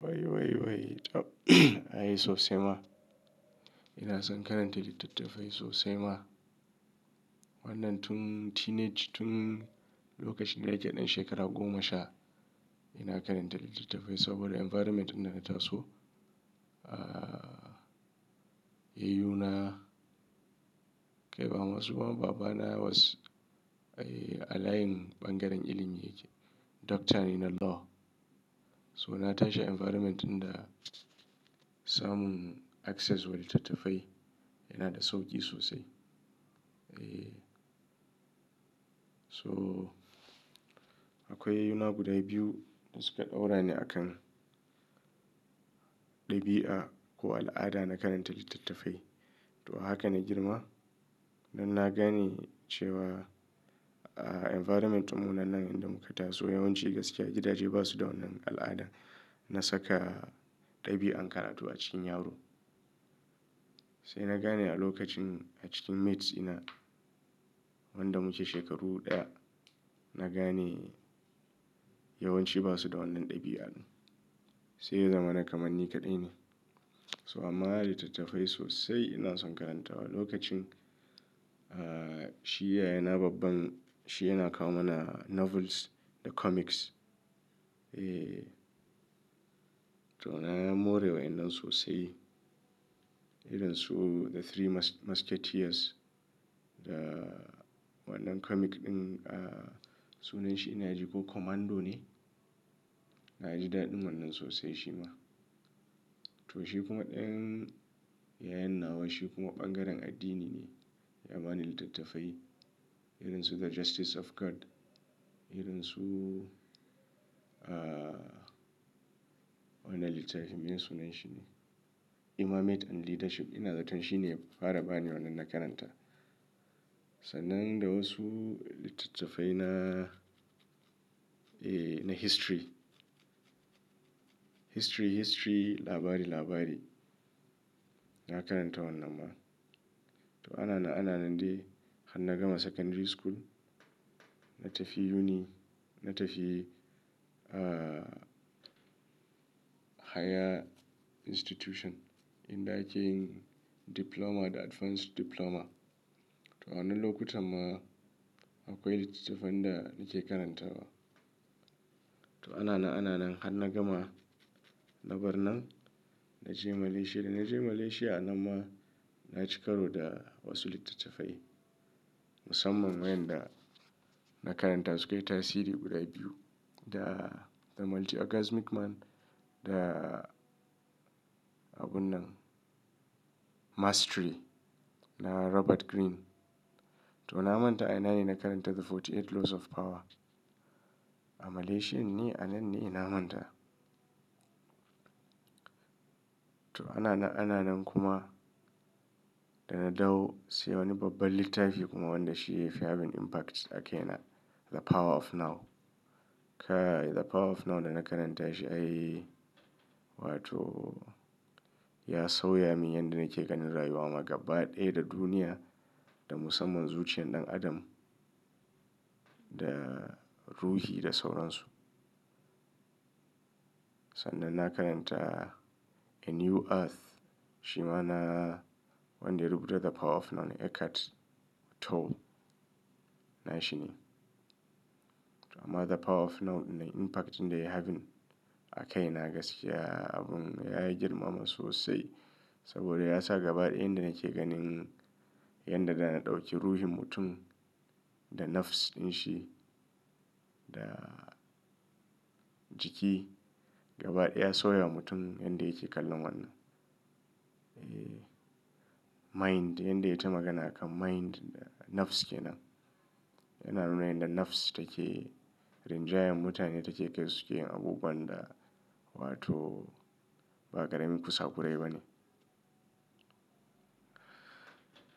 Wai, wai, wai, tab, ai sosai ma. Ina son karanta littattafai sosai ma. Wannan tun teenage, tun lokacin da nake ɗan shekara goma sha, ina karanta littattafai saboda environment din dana taso, yayyuna kai ba masu ba babana was a layin bangaren ilimi yake, doctor ne na law. So na tashi environment inda samun access wa littattafai yana da sauƙi sosai. Eeh. So akwai yayyuna guda biyu da suka daura ni a kan ɗabi'a ko al'ada na karanta littattafai. To haka na girma. Na gane cewa, aaah, environment mu nan nan inda muka taso yawanci gaskiya gidaje ba su da wannan al'ada na saka ɗabi'an karatu a cikin yaro. Sai na gane a lokacin a cikin mates ina wanda muke shekaru ɗaya, na gane yawanci ba su da wannan ɗabi'an. Sai ya zamana kaman ni kaɗai ne. So amma littattafai sosai ina son karantawa. Lokacin shi yayana babban, shi yana kawo mana novels da comics. Eeh. To na morewa wannan sosai. Irin su The Three Mus-Musketeers da wannan comic ɗin, sunan shi ina ji ko Commando ne. Na ji daɗi wannan sosai shi ma. To shi kuma ɗayan yayan nawa shi kuma ɓangaren addini ne. Yabani littattafai. Irin su The Justice of God. Irin su wannan littafin me sunan shi ne? Imamate and Leadership. Ina zaton shi ne ya fara bani wannan na karanta. Sannan da wasu littattafai na, ee, na history. History, history, labari, labari. Na karanta wannan ma. To ana na ana nan dai har na gama secondary school. Na tafi uni, na tafi higher institution inda ake diploma da advanced diploma. To wannan lokutan ma akwai littattafan da nake karantawa. To ana na ana nan har na gama. Na bar nan. Na je Malaysia. Da na je Malaysia nan ma na cika ro da wasu littattafai. Musamman wayanda na karanta su kai tasiri guda biyu. Da The Multi-Orgasmic Man da abun nan Mastery na Robert Green. To na manta a nan ina karanta The 48 Laws of Power. A Malaysia ne a nan ne ina manta. To ana na ana nan kuma da na dawo se wani babban littafi kuma wanda shi yake having impact a kai na, The Power of Now. Kai, The Power of Now da na karanta shi ai wato ya sauya min yanda nake ganin rayuwa ma gabaɗa da duniya da musamman zuciyan ɗan adam da ruhi da sauransu. Sannan na karanta A New Earth. Shi ma na wanda ya rubuta The Power of Now ne, Eckhart Tolle. Na shi ne. To amma The Power of Now impact inda ya having a kai na gaskiya abun ya yi girmama sosai saboda ya sa gabaɗaya inda nake ganin yanda da na ɗauki ruhin mutum da nafs ɗin shi da jiki, gabaɗaya ya sauya mutum yanda yake kallon wannan. Eeh. Mind, yanda ya yi ta magana a kan mind, nafs ke nan. Yana nuna yanda nafs take rinjayar mutane take kai suke yin abubuwan da wato ba karamin kusakurai ba ne.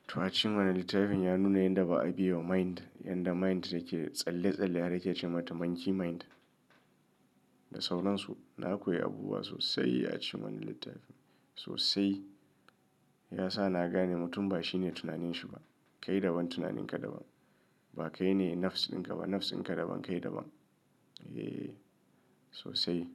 To a cikin wannan littafin ya nuna yanda ba a biyewa mind, yanda mind take tsalle-tsalle har take ce mata monkey mind da sauransu. Na koyi abubuwa sosai a cikin wannan littafin. Sosai. Ya sa na gane mutum ba shi ne tunaninshi ba. Kai daban tunaninka daban. Ba kai ne nafs dinka ba. Nafsinka daban kai daban. Eeh, sosai.